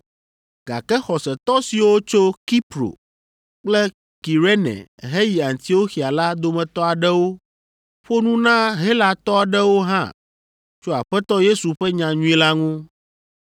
Gake xɔsetɔ siwo tso Kipro kple Kirene heyi Antioxia la dometɔ aɖewo ƒo nu na Helatɔ aɖewo hã tso Aƒetɔ Yesu ƒe nyanyui la ŋu.